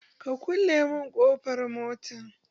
Ka kulle mun ƙofar mota?